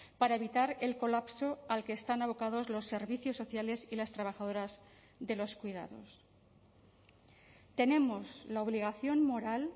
para evitar el colapso al que están abocados los servicios sociales y las trabajadoras de los cuidados tenemos la obligación moral